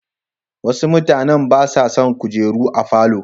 Wasu mutanen ba sa son kujeru a falo.